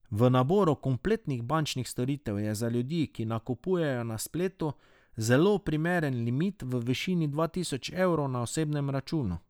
V naboru kompletnih bančnih storitev je za ljudi, ki nakupujejo na spletu, zelo primeren limit v višini dva tisoč evrov na osebnem računu.